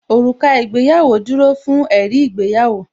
Òrùka ìgbéyàwó dúró fún ẹ̀rí ìgbéyàwó